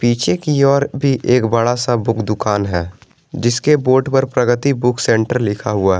पीछे की ओर भी एक बड़ा सा बुक दुकान है जिसके बोर्ड पर प्रगति बुक सेंटर लिखा हुआ है।